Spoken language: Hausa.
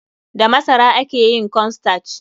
Da masara ake yin corn starch.